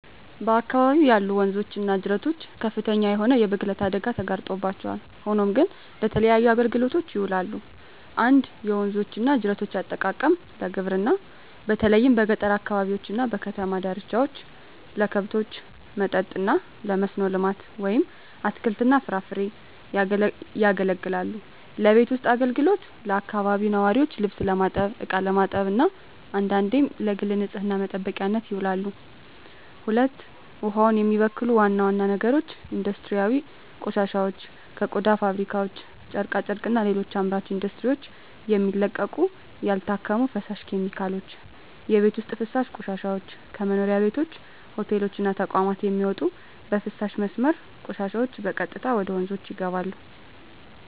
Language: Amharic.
በአካባቢው ያሉ ወንዞች እና ጅረቶች ከፍተኛ የሆነ የብክለት አደጋ ተጋርጦባቸዋል፣ ሆኖም ግን ለተለያዩ አገልግሎቶች ይውላሉ። 1. የወንዞች እና ጅረቶች አጠቃቀም ለግብርና በተለይም በገጠር አካባቢዎች እና በከተማ ዳርቻዎች ለከብቶች መጠጥ እና ለመስኖ ልማት (አትክልትና ፍራፍሬ) ያገለግላሉለቤት ውስጥ አገልግሎት ለአካባቢው ነዋሪዎች ልብስ ለማጠብ፣ እቃ ለማጠብ እና አንዳንዴም ለግል ንፅህና መጠበቂያነት ይውላሉ። 2. ውሃውን የሚበክሉ ዋና ዋና ነገሮች ኢንዱስትሪያዊ ቆሻሻዎች ከቆዳ ፋብሪካዎች፣ ጨርቃ ጨርቅና ሌሎች አምራች ኢንዱስትሪዎች የሚለቀቁ ያልታከሙ ፈሳሽ ኬሚካሎች። የቤት ውስጥ ፍሳሽ ቆሻሻዎች ከመኖሪያ ቤቶች፣ ሆቴሎች እና ተቋማት የሚወጡ የፍሳሽ መስመር ቆሻሻዎች በቀጥታ ወደ ወንዞች ይገባሉ።